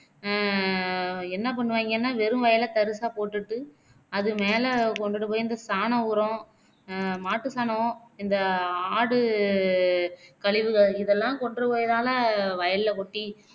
ஆஹ் என்ன பண்ணுவாங்கன்னா வெறும் வயலை தரிசா போட்டுட்டு அது மேல கொண்டுட்டு போய் இந்த சாண உரம் அஹ் மாட்டு சாணம் இந்த ஆடு கழிவுகள் இதெல்லாம் கொண்டுபோய்தான்லே வயலில கொட்டி